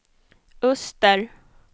öster